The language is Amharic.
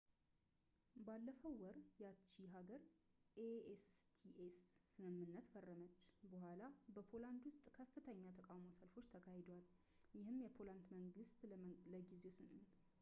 ባለፈው ወር፣ ያቺ ሀገር ኤ.ሲ.ቲ.ኤ ስ ስምምነት ፈረመች በኋላ፣ በፖላንድ ውስጥ ከፍተኛ የተቃውሞ ሰልፎች ተካሂደዋል፣ ይህም የፖላንድ መንግስት ለጊዜው ስምምነቱን እንዳያጸድቅ አድርጎታል